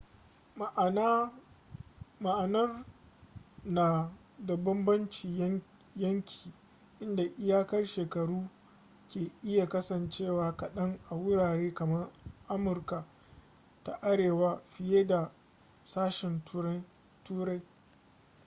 ma'anar na da banbancin yanki inda iyakar shekaru ke iya kasancewa kaɗan a wurare kamar amurika ta arewa fiye da ƙsashen turai